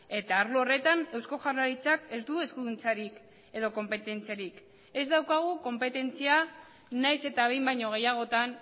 eta arlo horretan eusko jaurlaritzak ez du eskuduntzarik edo konpetentziarik ez daukagu konpetentzia nahiz eta behin baino gehiagotan